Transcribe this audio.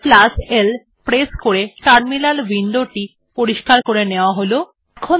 CTRLL press করে terminal উইন্ডোটি পরিস্কার করে নেওয়া যাক